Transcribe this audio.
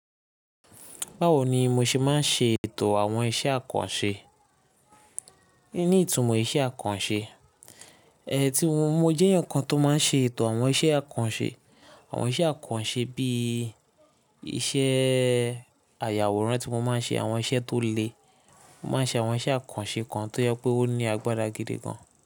Báwo ni mo ṣe máa ń ṣe ètò àwọn iṣẹ́ àkànṣe? Ni, ìtumọ̀ iṣẹ́ àkànṣe, mo jẹ́ ǹkan tó máa ń ṣe ètò àwọn iṣẹ́ àkànṣe, àwọn iṣẹ́ àkànṣe bí i iṣẹ́ ayàwòrán tí mo máa ń ṣe àwọn iṣẹ́ tó le, mo máa ń ṣe àwọn iṣẹ́ àkànṣe kan tó yẹ pé ó ní agbára gidi gan.